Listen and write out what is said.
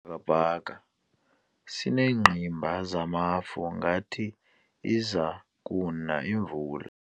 Isibhakabhaka sineengqimba zamafu ngathi iza kuna imvula.